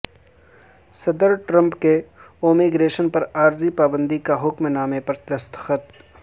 صدر ٹرمپ کے امیگریشن پر عارضی پابندی کے حکم نامے پر دستخط